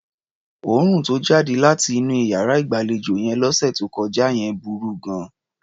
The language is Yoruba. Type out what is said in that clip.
Òórùn tó jáde láti inú iyàrá ìgbàlejò yẹn lọ́sẹ̀ tó kọjá yẹn burú gan-an.